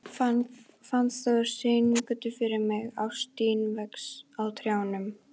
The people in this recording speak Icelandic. Fannþór, syngdu fyrir mig „Ástin vex á trjánum“.